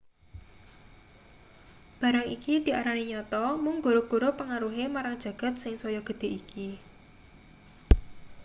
barang iki diarani nyata mung gara-gara pengaruhe marang jagat sing saya gedhe iki